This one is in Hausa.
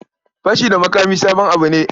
Fashi da makami sabon abu ne.